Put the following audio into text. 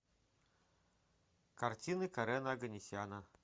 картины карена оганесяна